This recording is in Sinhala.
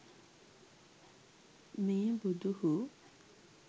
මේ බුදුහු